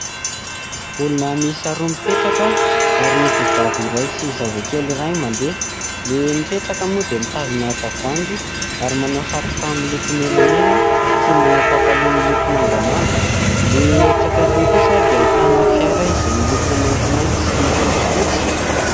Olona miisa roa mipetraka ary vehivavy iray sy zazakely iray mandeha. Ny mipetraka moa dia mitazona tavoahangy ary manao satroka miloko menamena ary pataloha miloko mangamanga. Ilay etsy akaikiny kosa dia ahitana fiara izay miloko maintimainty sy fotsifotsy.